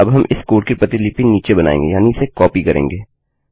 अब हम इस कोड की प्रतिलिपि नीचे बनाएँगे यानि इसे कॉपी करेंगे